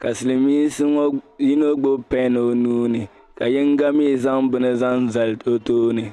ka silimiinsi ŋɔ yino gbibi pɛn o nuu ni ka yiŋga mi zaŋ bini zaŋ zali o tooni.